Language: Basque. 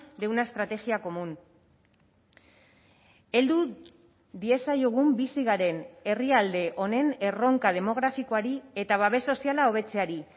de una estrategia común heldu diezaiogun bizi garen herrialde honen erronka demografikoari eta babes soziala hobetzeari